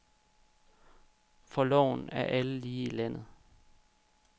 For loven er alle lige i landet.